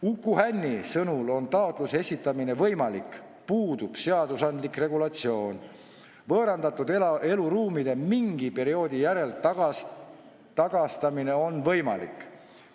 Uku Hänni sõnul on taotluse esitamine võimalik, puudub seadusandlik regulatsioon, võõrandatud eluruumide mingi perioodi järel tagastamine on võimalik.